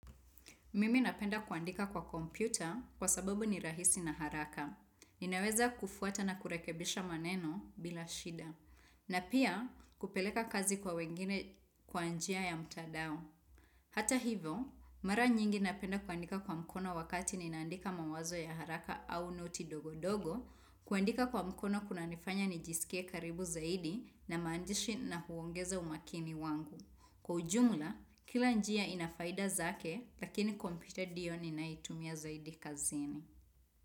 Mimi napenda kuandika kwa kompyuta kwa sababu ni rahisi na haraka. Ninaweza kufuata na kurekebisha maneno bila shida. Na pia kupeleka kazi kwa wengine kwa njia ya mtadao. Hata hivyo, mara nyingi napenda kuandika kwa mkono wakati ninaandika mawazo ya haraka au noti ndogondogo. Kuandika kwa mkono kunanifanya nijisikie karibu zaidi na maandishi na huongeza umakini wangu. Kwa ujumla, kila njia inafaida zake lakini kompyuta ndio ninaotumia zaidi kazini.